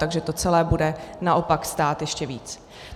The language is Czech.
Takže to celé bude naopak stát ještě víc.